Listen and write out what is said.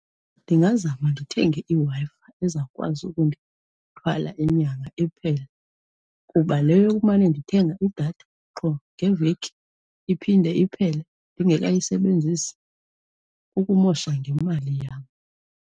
Ndingazama ndithenge iWi-Fi ezawukwazi ukundithwala inyanga iphele kuba le yokumane ndithenga idatha qho ngeveki, iphinde iphele ndingekayisebenzisi, kukumosha ngemali yam.